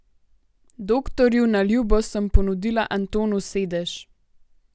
Doktorju na ljubo sem ponudila Antonu sedež.